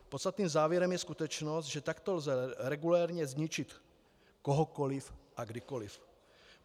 Podstatným závěrem je skutečnost, že takto lze regulérně zničit kohokoliv a kdykoliv.